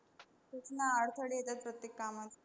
खूप ना अडथळे येतात प्रत्येक कामात.